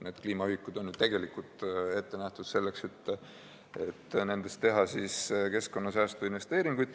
Need kliimaühikud on ju tegelikult ette nähtud selleks, et nende abil teha keskkonnasäästu investeeringuid.